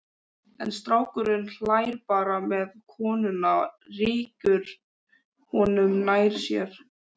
En strákurinn hlær bara meðan konan rykkir honum nær sér.